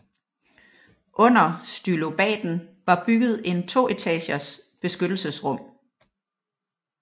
Under stylobaten var bygget en to etagers beskyttelsesrum